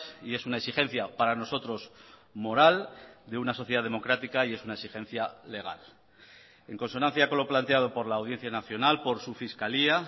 y es una exigencia para nosotros moral de una sociedad democrática y es una exigencia legal en consonancia con lo planteado por la audiencia nacional por su fiscalía